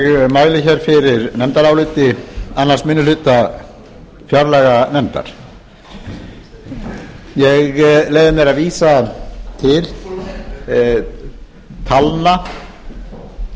mæli hér fyrir nefndaráliti annar minni hluta fjárlaganefndar ég leyfi mér að vísa til talna sem lúta að